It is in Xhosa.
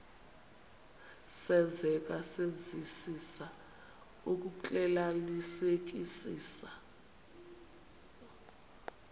senzeka senzisisa ukuxclelanisekisisa